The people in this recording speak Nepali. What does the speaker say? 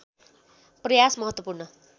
प्रयास महत्त्वपूर्ण